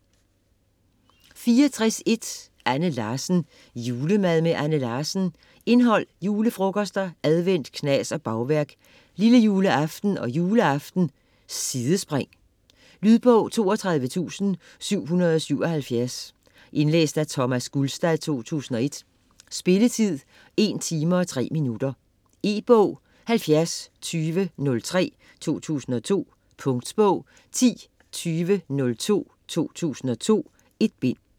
64.1 Larsen, Anne: Julemad med Anne Larsen Indhold: Julefrokoster, advent, knas og bagværk; Lillejuleaften og juleaften; Sidespring. Lydbog 32777 Indlæst af Thomas Gulstad, 2001. Spilletid: 1 timer, 3 minutter. E-bog 702003 2002. Punktbog 102002 2002. 1 bind.